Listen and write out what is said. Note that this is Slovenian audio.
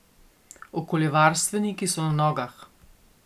Okoljevarstveniki so na nogah.